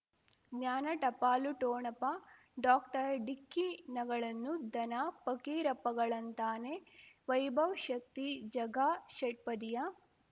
ಜ್ಞಾನ ಟಪಾಲು ಠೋಣಪ ಡಾಕ್ಟರ್ ಢಿಕ್ಕಿ ಣಗಳನು ಧನ ಫಕೀರಪ್ಪಗ ಳಂತಾನೆ ವೈಭವ್ ಶಕ್ತಿ ಝಗಾ ಷಟ್ಪದಿಯ